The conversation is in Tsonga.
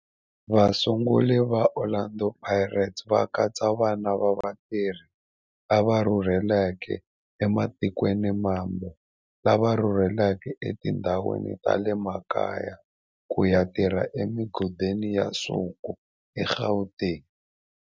Vasunguri va Orlando Pirates va katsa vana va vatirhi lava rhurhelaka ematikweni mambe lava rhurheleke etindhawini ta le makaya ku ya tirha emigodini ya nsuku eGauteng.